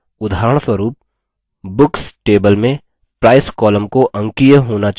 उदाहरणस्वरुप books table में price column को अंकीय होना चाहिए